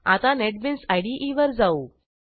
आता नेटबीन्स IDEवर जाऊ